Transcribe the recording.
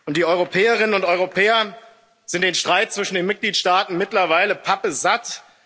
Die Europäerinnen und Europäer sind den Streit zwischen den Mitgliedstaaten mittlerweile pappsatt.